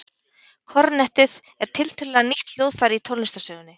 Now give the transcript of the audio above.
Kornettið er tiltölulega nýtt hljóðfæri í tónlistarsögunni.